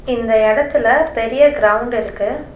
இந்த இடத்துல பெரிய கிரவுண்ட் இருக்கு.